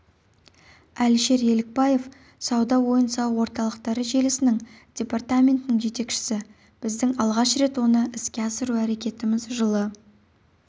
әлішер елікбаев сауда ойын-сауық орталықтары желісінің департаментінің жетекшісі біздің алғаш рет оны іске асыру әрекетіміз жылы